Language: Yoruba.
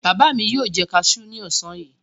Bàbá mi yóò jẹ kaṣú ní ọ̀sán yìí.